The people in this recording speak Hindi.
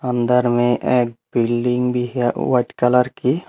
अंदर में एक बिल्डिंग भी है वाइट कलर की।